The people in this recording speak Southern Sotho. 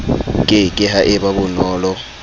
ke ke ha eba bonolo